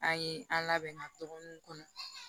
An ye an labɛn ka tɔnniw kɔnɔ